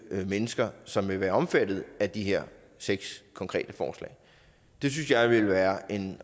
mennesker som vil være omfattet af de her seks konkrete forslag det synes jeg ville være en